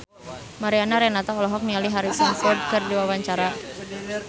Mariana Renata olohok ningali Harrison Ford keur diwawancara